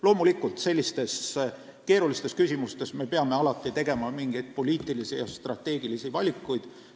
Loomulikult, sellistes keerulistes küsimustes tuleb alati teha mingeid poliitilisi ja strateegilisi valikuid.